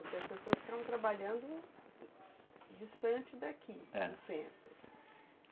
Porque as pessoas ficavam trabalhando distante daqui, é, do centro.